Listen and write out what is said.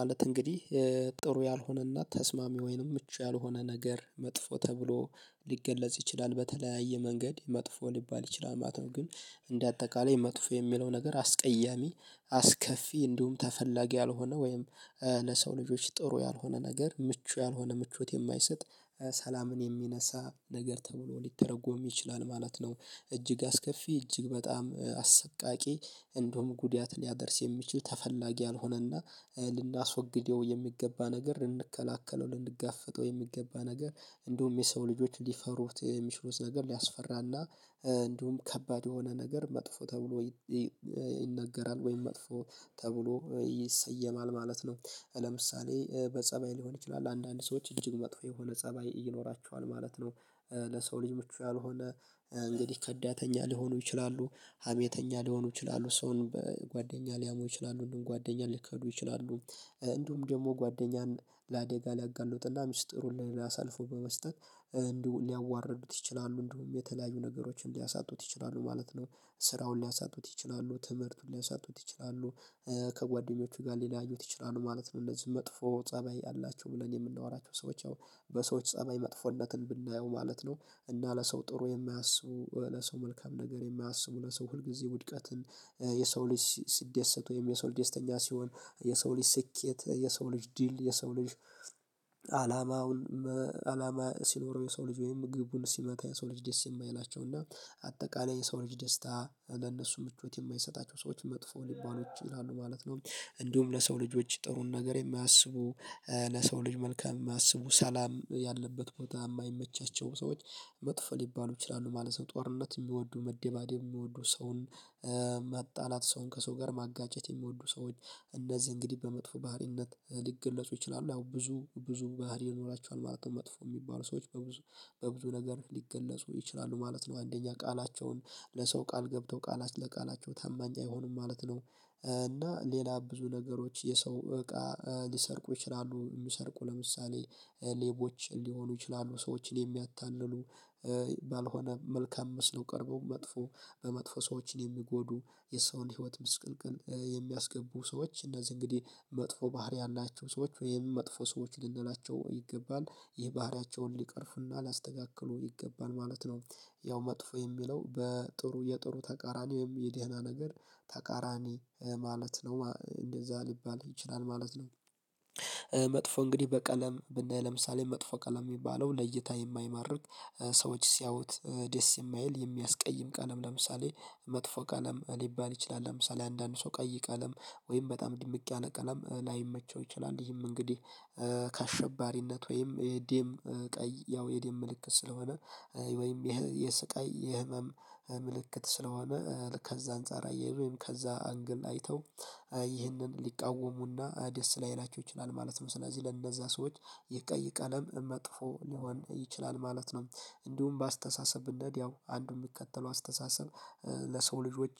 ማለት እንግዲህ ጥሩ ያልሆነና ተስማሚ ወይንም ምቹ ያልሆነ ነገር መጥፎ ተብሎ ሊገለጽ ይችላል በተለያየ መንገድ መጥፎ ሊባል ይችላል ማለት ነው ግን እንደ አጠቃላይ መጥፎ የሚለው ነገር አስቀያሚ አስከፊ እንዲሁም ተፈላጊ ያልሆነ ወይም ለሰው ልጆች ጥሩ ያልሆነ ነገር ምቹ ያልሆነ ምቹት የማይሰጥ ሰላምን የሚነሳ ነገር ተብሎ ሊተረጎም ይችላል ማለት ነ። እጅግ አስከፊ እጅግ በጣም አሰቃቂ እንደውም ጉዳት ሊያደርስ የሚችል ተፈላጊ አልሆነና ልናስወግደው የሚገባ ነገር ልንከላከለው ልንጋፈጠው የሚገባ ነገር እንደውም የሰው ልጆች ሊፈሩት የሚችሉት ነገር ሊያስፈራና እንዲሁም ከባድ የሆነ ነገር መጥፎ ተብሎ ይነገራል ወይም መጥፎ ተብሎ ይሰየማል ማለት ነው ለምሳሌ በጸባይ ሊሆን ይችላል አንዳንድ ሰዎች እጅግ መጥፎ የሆነ ፀባይ ይኖራቸዋል ማለት ነው። ለሰው ልጅ ምቹ ያልሆነ እንግዲህ ከዳተኛ ሊሆኑ ይችላሉ ሀሜተኛ ሊሆኑ ይችላሉ ሰውን በጓደኛ ሊያሞ ይችላሉ እንደውም ጓደኛ ሊከዱ ይችላሉ እንዲሁም ደግሞ ጓደኛን ለአዴጋ ሊያጋለጥላ ሚስጥሩን ለላሳልፎ በመስጠት እንዲሁ ሊያዋርዱት ይችላሉ እንደውም የተለያዩ ነገሮችን ሊያሳጡት ይችላሉ ማለት ነው ስራውን ሊያሳጡት ይችላሉ ትምህርቱን ሊያሳጡት ይችላሉ ከጓደኞቹ ጋር ሊለያዩት ይችላሉ ማለት ነው እንደዚህ መጥፎ ፀባይ አላቸው ብለን የምንወራቸው ሰዎች ያው በሰዎች ፀባይ መጥፎነትን ብናየው ማለት ነው እና ለሰው ጥሩ የማያስቡ ለሰው መልካም ነገር የማያስቡ ለሰው ሁልጊዜ ውድቀትን የሰው ልጅ ሲደሰት ወይም የሰው ልጅተኛ ሲሆን የሰው ልጅ ስኬት የሰው ልጅ ዲል የሰው ልጅ አላማውን አላማ ሲኖረው የሰው ልጅ ወይም ግቡን ሲመታ የሰው ልጅ ደስ የማይላቸው እና አጠቃላይ የሰው ልጅ ደስታ ለነሱ ምቾት የማይሰጣቸው ሰዎች መጥፎ ሊባሉ ይችላሉ ማለት ነው። እንዲሁም ለሰው ልጆች ጥሩን ነገር የማያስቡ ለሰው ልጅ መልካም የማያስቡ ሰላም ያለበት ቦታ የማይመቻቸው ሰዎች መጥፎ ሊባሉ ይችላሉ ማለት ጦርነት የሚወዱ መደባደብ የሚወዱ ሰውን መጣላት ሰውን ከሰው ጋር ማጋጨት የሚወዱ ሰዎች እነዚህ እንግዲህ በመጥፎ ባህሪነት ሊገለጹ ይችላሉ ያው ብዙ ብዙ ባህሪ ይኖራቸዋል ማለት ነው መጥፎ የሚባሉ ሰዎች በብዙ በብዙ ነገር ሊገለጹ ይችላሉ ማለት ነው አንደኛ ቃላቸውን ለሰው ቃል ገብተው ቃላት ለቃላቸው ታማኝ አይሆንም ማለት ነው እና ሌላ ብዙ ነገሮች የሰው እቃ ሊሰርቁ ይችላሉ የሚሰርቁ ለምሳሌ ሌቦች ሊሆኑ ይችላሉ ሰዎችን የሚያታልሉ ባልሆነ መልካም መስለው ቀርበው መጥፎ በመጥፎ ሰዎችን የሚጎዱ የሰውን ህይወት ምስቅልቅል የሚያስገቡ ሰዎች እነዚህ እንግዲህ መጥፎ ባህሪያን ያላቸው ሰዎች ወይም መጥፎ ሰዎች ልንላቸው ይገባል ይህ ባህሪያቸውን ሊቀርፍና ላስተካክሉ ይገባል ማለት ነው። ያው መጥፎ የሚለው በጥሩ የጥሩ ተቃራኒ ወይም የድህና ነገር ተቃራኒ ማለት ነው እንደዛ ሊባል ይችላል ማለት ነ። መጥፎ እንግዲህ በቀለም ብናይ ለምሳሌ መጥፎ ቀለም የሚባለው ለይታ የማይማርክ ሰዎች ሲያውት ደስ የማይል የሚያስቀይም ቀለም ለምሳሌ መጥፎ ቀለም ሊባል ይችላል ለምሳሌ አንዳንድ ሰው ቀይ ቀለም ወይም በጣም ድምቅ ያለ ቀለም ላይመቸው ይችላል ይሄም እንግዲህ ከአሸባሪነት ወይም የደም ቀይ ያው የዴም ምልክት ስለሆነ ወይም ይሄ የስቃይ የህመም ምልክት ስለሆነ ከዛ አንፃር አያይዞ ወይም ከዛ አንግል አይተው ይህንን ሊቃወሙና ደስ ላይላችሁ ይችላል ማለት ነው ስለዚህ ለእነዛ ሰዎች የቀይ ቀለም መጥፎ ሊሆን ይችላል ማለት ነው እንዲሁም በአስተሳሰብነት ያው አንዱ የሚከተለው አስተሳሰብ ለሰው ልጆች